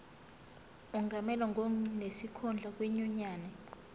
angamelwa ngonesikhundla kwinyunyane